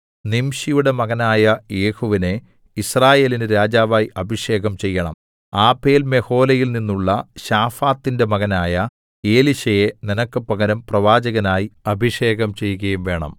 നിംശിയുടെ മകനായ യേഹൂവിനെ യിസ്രായേലിന് രാജാവായി അഭിഷേകം ചെയ്യേണം ആബേൽമെഹോലയിൽനിന്നുള്ള ശാഫാത്തിന്റെ മകനായ എലീശയെ നിനക്ക് പകരം പ്രവാചകനായി അഭിഷേകം ചെയ്കയും വേണം